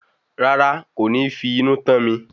Rárá, kò fi inú tán mi